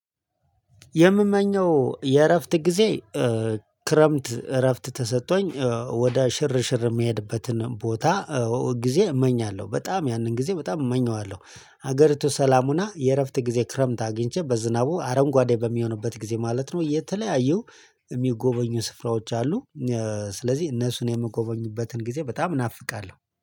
የምመኘው የእረፍት ጊዜ ክረምት እረፍት ተሰጥቶኝ ወደ ሽርሽር የሚሄድበትን ቦታ ጊዜ እመኛለሁ በጣም ያንን ጊዜ በጣም እመኘዋለሁ። ሀገሪቱ ሰላም ሆና የእረፍት ጊዜ ክረምት አግኝቼ በዝናቡ አረንጓዴ በሚሆንበት ጊዜ ማለት ነው። የተለያዩ የሚጎበኙ ስፍራዎች አሉ። ስለዚህ እነሱን የምጎበኝበትን ጊዜ በጣም ናፍቃለሁ